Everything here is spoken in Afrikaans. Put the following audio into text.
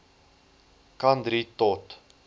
kan drie tot